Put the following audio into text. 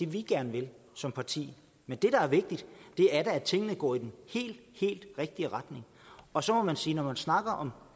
vi gerne vil som parti men det der er vigtigt er da at tingene går i den helt helt rigtige retning og så må man bare sige når man snakker om